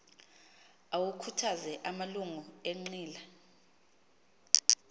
awakhuthaze amalungu enqila